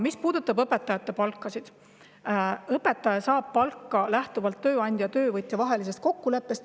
Mis puudutab õpetajate palkasid, siis õpetaja saab palka tööandja ja töövõtja vahelise kokkuleppe alusel.